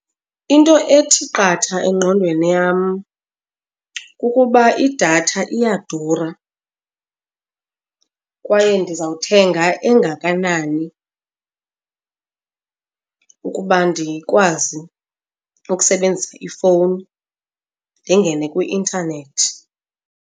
Into ethi qatha engqondweni yam kukuba idatha iyadura kwaye ndizawuthenga engakanani ukuba ndikwazi ukusebenzisa ifowuni ndingene kwi-intanethi.